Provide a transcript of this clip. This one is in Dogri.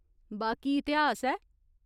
बाकी इतिहास ऐ !